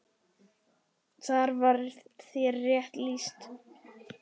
Þar var þér rétt lýst!